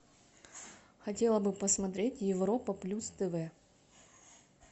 хотела бы посмотреть европа плюс тв